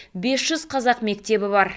бес жүз қазақ мектебі бар